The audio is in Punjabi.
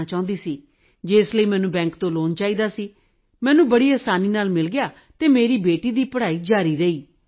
ਕਰਨਾ ਚਾਹੁੰਦੀ ਸੀ ਜਿਸ ਲਈ ਮੈਨੂੰ ਬੈਂਕ ਤੋਂ ਲੋਨ ਚਾਹੀਦਾ ਸੀ ਜੋ ਮੈਨੂੰ ਸੌਖਿਆਂ ਹੀ ਮਿਲ ਗਿਆ ਅਤੇ ਮੇਰੀ ਬੇਟੀ ਦੀ ਪੜ੍ਹਾਈ ਚੱਲਦੀ ਰਹੀ